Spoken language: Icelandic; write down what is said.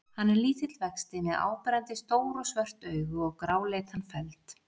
Hann er lítill vexti með áberandi stór og svört augu og gráleitan feld.